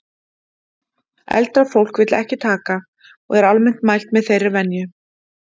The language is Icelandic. Eldra fólk vill ekki taka.og er almennt mælt með þeirri venju